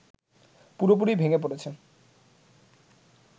পুরোপুরিই ভেঙে পড়েছে